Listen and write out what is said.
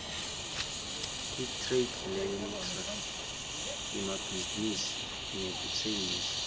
itradelentre yemabhizinisi nekutsengisa